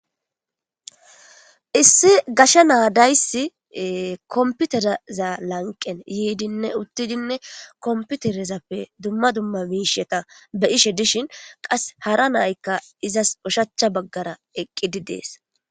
Issi gashe na dayssi kompitereza lanqen yidinne uttidinne kompiterezappe dumma dumma miishata be'ishe dishin hara na'aykka izas ushachcha baggara eqqidi de'ees.